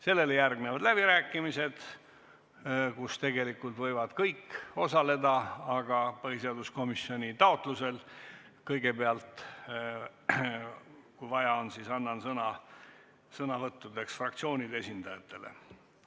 Sellele järgnevad läbirääkimised, kus võivad kõik osaleda, aga põhiseaduskomisjoni taotlusel annan kõigepealt, kui vaja on, sõna fraktsioonide esindajatele.